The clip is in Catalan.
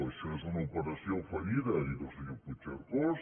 això és una operació fallida ha dit el senyor puigcercós